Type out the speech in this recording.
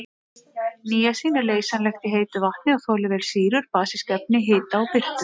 Níasín er leysanlegt í heitu vatni og þolir vel sýrur, basísk efni, hita og birtu.